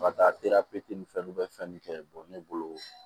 Ka taa ni fɛn n'u bɛ fɛn min kɛ ne bolo